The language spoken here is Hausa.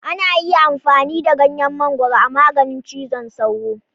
Ana iya amfani da ganyen mangwaro a maganin cizon sauro.